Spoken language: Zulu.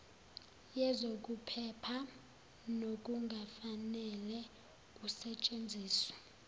yezokuphepha nokungafanele usetshenziselwe